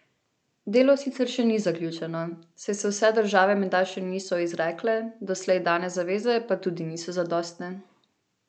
Delo sicer še ni zaključeno, saj se vse države menda še niso izrekle, doslej dane zaveze pa tudi niso zadostne.